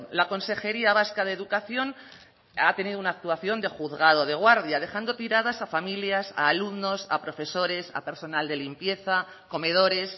la consejería vasca de educación ha tenido una actuación de juzgado de guardia dejando tiradas a familias a alumnos a profesores a personal de limpieza comedores